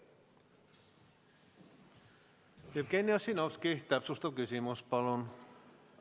Jevgeni Ossinovski, täpsustav küsimus palun!